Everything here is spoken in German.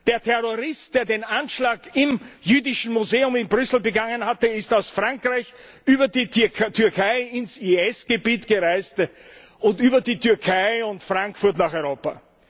Der Terrorist, der den Anschlag im Jüdischen Museum in Brüssel begangen hat, ist aus Frankreich über die Türkei ins IS Gebiet gereist und über die Türkei und Frankfurt nach Europa.